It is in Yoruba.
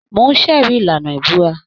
Mò ń ṣẹ̀rí ìlànà ìbúra